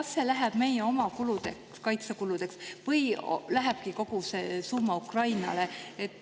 Kas see läheb meie oma kaitsekuludeks või lähebki kogu see summa Ukrainale?